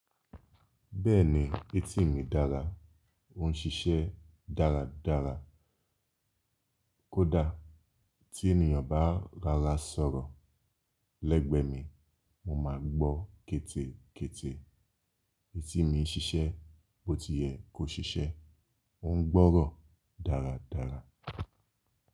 Bẹ́ẹ̀ni, etíi mi dára, ó ń ṣiṣẹ́ dáradára. Kódà tí ènìyàn bá rorá sọ̀rọ̀ lẹ́gbẹ́ mi, mo máa gbọ́ kẹ́tẹ́kẹ́tẹ́. Etí mi n ṣiṣẹ́ bó ti yẹ kó ṣiṣẹ́, ó ń gbọ́rọ̀ dáradára.